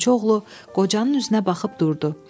Odunçu oğlu qocanın üzünə baxıb durdu.